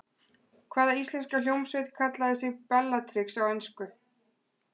Hvaða íslenska hljómsveit kallaði sig Bellatrix á ensku?